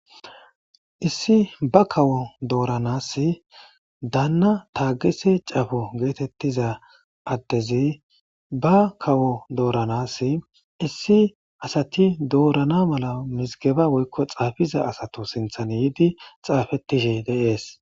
Issi ba kawo dooranass daanna taagese cafo geetettiza addezi ba kawo dooranas issi asati doorana mala mizigeba woykko xaafiza asato sinthan yiidi xaafettishi deees.